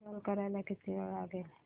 install करायला किती वेळ लागेल